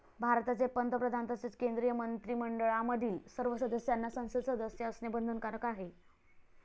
भारताचे पंतप्रधान तसेच केंद्रीय मंत्रिमंडळामधील सर्व सदस्यांना संसद सदस्य असणे बंधनकारक आहे.